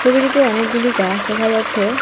ছবিটিতে অনেকগুলি গাছ দেখা যাচ্ছে।